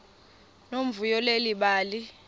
nomvuyo leli bali